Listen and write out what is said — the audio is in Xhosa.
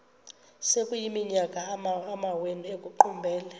sekuyiminyaka amawenu ekuqumbele